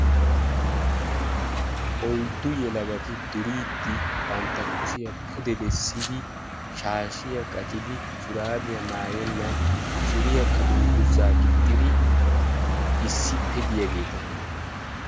Oyddu yelagati duriidi bantta kushiyaa pude bessidi shaashshiyaa qaccidi shuraabiyaa maayennan suriyaakka dungguzaa gixxidi issippe de'iyaageta.